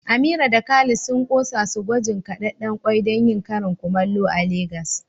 Amira da Khalid sun kosa su gwajin kadedden kwai don yin karin kumallo a Legas.